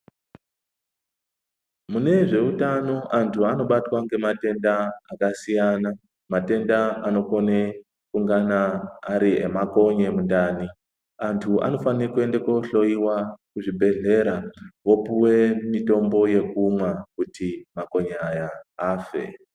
Mune zveutano antu anobatwa ngematenda akasiyana matenda anokone kungana ari emakonye mundani antu anofane kuende kohloiwa kuzvibhedhlera vopuwe mutombo wekumwa kuti makonye aya afe.